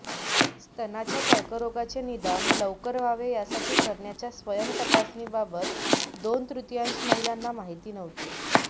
स्तनांच्या कर्करोगाचे निदान लवकर व्हावे यासाठी करण्याच्या स्वयंतपासणीबाबत दोन तृतियांश महिलांना माहिती नव्हती